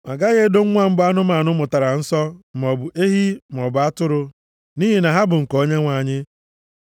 “ ‘A gaghị edo nwa mbụ anụmanụ mụtara nsọ maọbụ ehi maọbụ atụrụ nʼihi na ha bụ nke Onyenwe anyị.